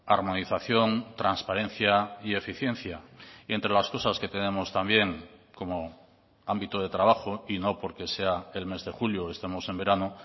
armonización transparencia y eficiencia y entre las cosas que tenemos también como ámbito de trabajo y no porque sea el mes de julio o estemos en verano